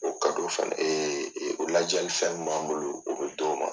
O fana o lajali fɛn min b'an bolo o bɛ d'o ma.